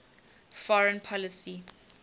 foreign policy